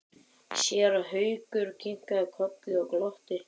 Séra Haukur kinkaði kolli og glotti.